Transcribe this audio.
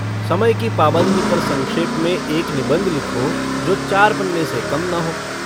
समय की पाबन्दी पर संक्षेप में एक निबन्ध लिखो जो चार पन्ने से कम न हो।